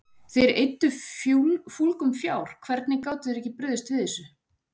Þeir eyddi fúlgum fjár, hvernig gátu þeir ekki brugðist við þessu?